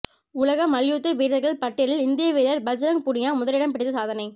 உலக மல்யுத்த வீரர்கள் பட்டியலில் இந்திய வீரர் பஜ்ரங் புனியா முதலிடம் பிடித்து சாதனை